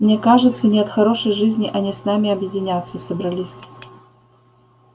мне кажется не от хорошей жизни они с нами объединяться собрались